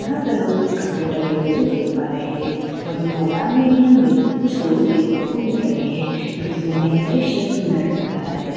यहां पर हम कुछ कपड़े टंगे हुए दे प रहे हैं वही मैदान में भी हमें कुछ लोग देखने को मिल रहे हैं देखने में यह दृश्य सुन्दर लगरहा हैं ।